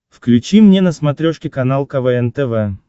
включи мне на смотрешке канал квн тв